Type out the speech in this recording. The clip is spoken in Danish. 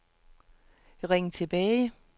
ring tilbage